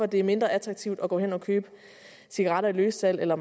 det er mindre attraktivt at gå hen og købe cigaretter i løssalg eller